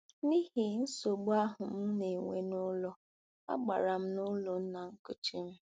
N'ihi nsogbu ahụ m na-enwe n'ụlọ, agara m n'ụlọ nna nkuchi m.